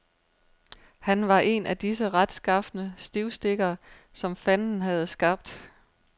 Han var en af disse retskafne stivstikkere, som fanden havde skabt.